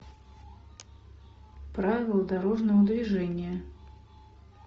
правила дорожного движения